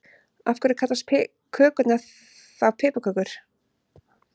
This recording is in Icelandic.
Af hverju kallast kökurnar þá piparkökur?